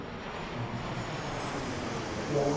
A IPL